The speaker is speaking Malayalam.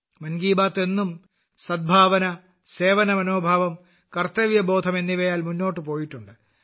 മൻ കി ബാത്ത് എന്നും സദ്ഭാവന സേവന മനോഭാവം കർത്തവ്യബോധം എന്നിവയാൽ മുന്നോട്ട് പോയിട്ടുണ്ട്